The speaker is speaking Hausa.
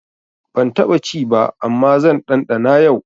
Ban taɓa ci ba amma zan ɗanɗana yau.